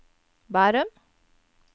Bærum